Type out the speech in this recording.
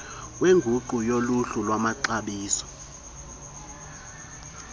wenkqubo yoluhlu lwamaxabiso